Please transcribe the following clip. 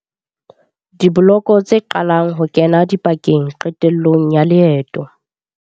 Dibloko tse qalang Ho kena dipakeng Qetello ya leeto.